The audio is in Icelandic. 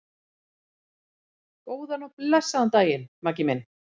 Góðan og blessaðan daginn, Maggi minn.